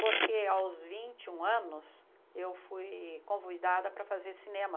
porque aos vinte e um anos eu fui convidada para fazer cinema.